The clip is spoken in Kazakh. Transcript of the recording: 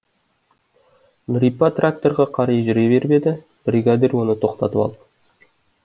нұрипа тракторға қарай жүре беріп еді бригадир оны тоқтатып алды